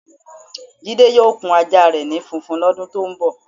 Jide yóò kun ajá re̩ ni funfun ló̩dun tó ń bò̩.